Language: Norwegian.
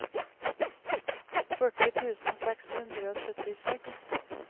førti tusen seks hundre og syttiseks